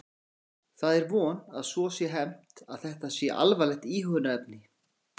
Já, það er von að svo sé hermt að þetta sé alvarlegt íhugunarefni.